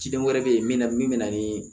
Ciden wɛrɛ be yen min na min be na nii